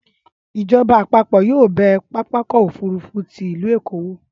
ìjọba àpapọ̀ yóò bẹ pápákọ̀ òfúrufú ti ìlú Èkó wò.